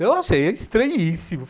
Eu achei estranhíssimo.